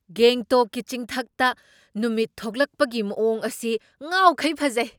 ꯒꯦꯡꯇꯣꯛꯀꯤ ꯆꯤꯡꯊꯛꯇ ꯅꯨꯃꯤꯠ ꯊꯣꯛꯂꯛꯄꯒꯤ ꯃꯋꯣꯡ ꯑꯁꯤ ꯉꯥꯎꯈꯩ ꯐꯖꯩ ꯫